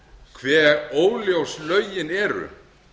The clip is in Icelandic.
hve óljós lögin eru